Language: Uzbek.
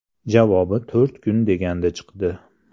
Javobi to‘rt kun deganda chiqdi.